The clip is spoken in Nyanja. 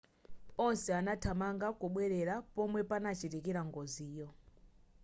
onse anathamanga kubwerera pomwe panachitikira ngoziyo